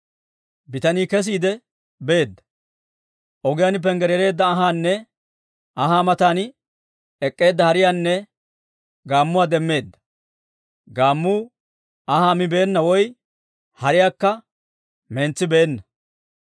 bitanii kesiide beedda. Ogiyaan panggaraareedda anhaanne anhaa matan ek'k'eedda hariyaanne gaammuwaa demmeedda; gaammuu anhaa mibeenna woy hariyaakka mentsibeenna.